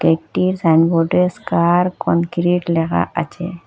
একটি সাইনবোর্ডে স্কার কনক্রিট লেখা আছে।